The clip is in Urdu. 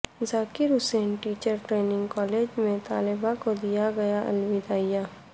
ذاکر حسین ٹیچرس ٹریننگ کالج میں طلباء کودیا گیا الوداعیہ